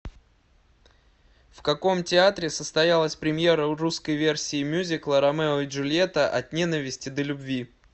в каком театре состоялась премьера русской версии мюзикла ромео и джульетта от ненависти до любви